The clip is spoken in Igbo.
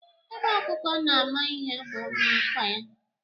Ebe ọkụkọ na-ama ihe bụ n'ákwà ya